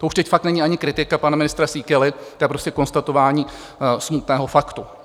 To už teď fakt není ani kritika pana ministra Síkely, to je prostě konstatování smutného faktu.